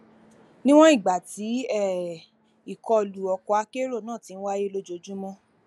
níwọn ìgbà tí um ìkọlù ọkọakérò náà ti ń wáyé lójoojúmọ